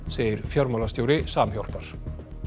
segir fjármálastjóri Samhjálpar